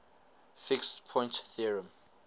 fixed point theorem